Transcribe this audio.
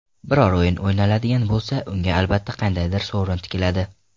Biror o‘yin o‘ynaladigan bo‘lsa, unga albatta qandaydir sovrin tikiladi.